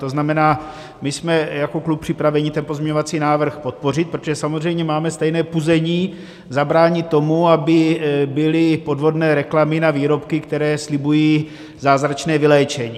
To znamená, my jsme jako klub připraveni ten pozměňovací návrh podpořit, protože samozřejmě máme stejné puzení zabránit tomu, aby byly podvodné reklamy na výrobky, které slibují zázračné vyléčení.